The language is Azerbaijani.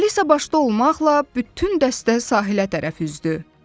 Alisa başda olmaqla bütün dəstə sahilə tərəf üzdü.